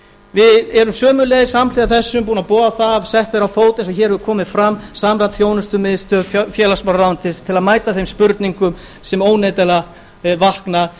við erum sömuleiðis samhliða þessu búin að boða að sett verður á fót eins og hér hefur komið fram samræmd þjónustumiðstöð félagsmálaráðuneytisins til að mæta þeim spurningum sem óneitanlega vakna